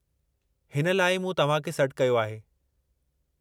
हिन लाइ ई मूं तव्हां खे सॾु कयो आहे।